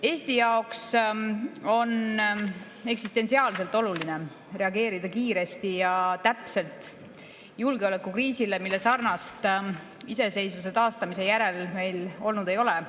Eesti jaoks on eksistentsiaalselt oluline reageerida kiiresti ja täpselt julgeolekukriisile, millesarnast meil iseseisvuse taastamise järel olnud ei ole.